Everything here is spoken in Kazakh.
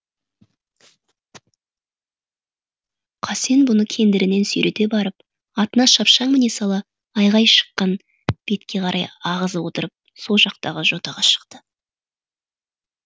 қасен бұны кендірінен сүйрете барып атына шапшаң міне сала айғай шыққан бетке қарай ағызып отырып сол жақтағы жотаға шықты